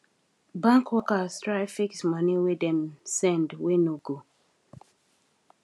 bank workers try fix money wey dem send wey no go